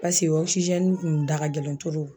Pase ɔkisizɛni kun da ka gɛlɛn toro